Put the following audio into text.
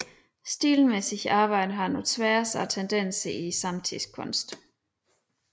Stilmæssigt arbejdede han på tværs af tendenserne i samtidskunsten